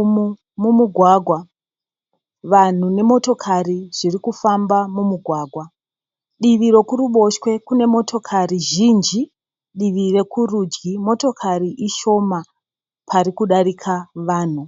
Umo mumugwagwa. Vanhu nemotokari zvirikufamba mumugwagwa. Divi rekuruboshwe kune motokari zhinji. Divi rekurudyi motokari ishoma parikudarika vanhu.